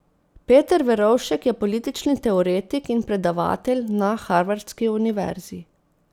Peter Verovšek je politični teoretik in predavatelj na harvardski univerzi.